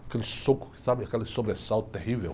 Aquele soco, que, sabe? Aquele sobressalto terrível.